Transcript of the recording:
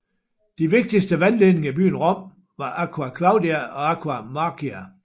De vigtigste vandledninger i byen Rom var Aqua Claudia og Aqua Marcia